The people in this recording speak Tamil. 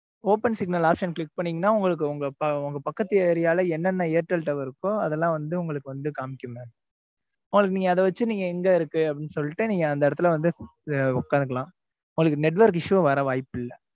open signal option click பண்ணீங்கன்னா உங்களுக்கு உங்க பக்கத்து ஏரியால என்னென்ன airtel tower இருக்கோ அதெல்லா வந்து உங்களுக்கு வந்து காமிக்குங்க அத வச்சு நீங்க எங்க இருக்கு அப்டீன்னு சொல்லிட்டு நீங்க அந்த இடத்துல வந்து உக்காந்துக்கலாம். உங்களுக்கு network issue உம் வர வாய்ப்பில்லை.